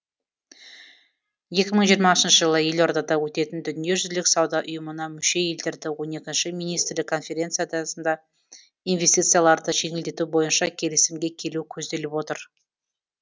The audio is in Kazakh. екі мың жиырмасыншы жылы елордада өтетін дүниежүзілік сауда ұйымына мүше елдердің он екінші министрлік конференциясында инвестицияларды жеңілдету бойынша келісімге келу көзделіп отыр